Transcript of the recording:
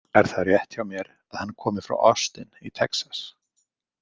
Er það rétt hjá mér að hann komi frá Austin í Texas?